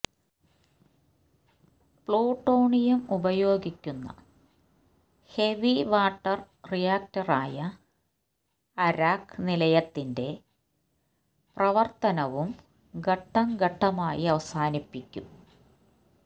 plutonium ഉപയോഗിക്കുന്ന heavy water reactor ആയ Arak നിലയത്തിന്റെ പ്രവര്ത്തനവും ഘട്ടംഘട്ടമായി അവസാനിപ്പിക്കും